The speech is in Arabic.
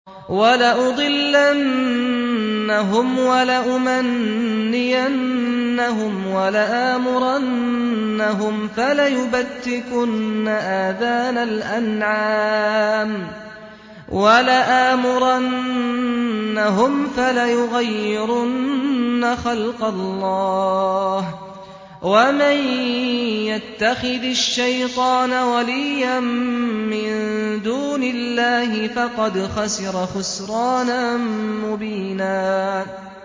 وَلَأُضِلَّنَّهُمْ وَلَأُمَنِّيَنَّهُمْ وَلَآمُرَنَّهُمْ فَلَيُبَتِّكُنَّ آذَانَ الْأَنْعَامِ وَلَآمُرَنَّهُمْ فَلَيُغَيِّرُنَّ خَلْقَ اللَّهِ ۚ وَمَن يَتَّخِذِ الشَّيْطَانَ وَلِيًّا مِّن دُونِ اللَّهِ فَقَدْ خَسِرَ خُسْرَانًا مُّبِينًا